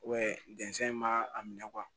ma a minɛ